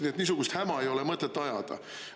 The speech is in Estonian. Nii et niisugust häma ei ole mõtet ajada.